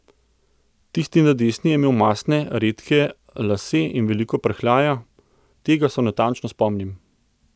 Tisti na desni je imel mastne, redke lase in veliko prhljaja, tega se natančno spomnim.